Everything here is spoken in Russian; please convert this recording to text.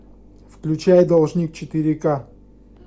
включай должник четыре к